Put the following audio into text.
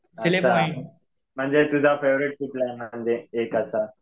अच्छा. म्हणजे तुझा फेव्हरेट कुठला म्हणजे एक असा?